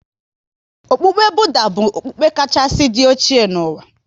Okpukpe Budha bụ okpukpe kachasị dị oche n'ụwa.